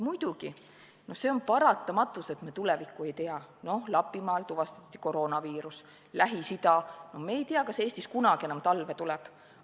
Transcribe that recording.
Muidugi, see on paratamatus, et me tulevikku ei tea: Lapimaal tuvastati koroonaviirus, Lähis-Ida, ja me ei tea, kas Eestis kunagi enam talve tuleb.